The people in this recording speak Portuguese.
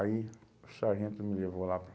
Aí, o sargento me levou lá.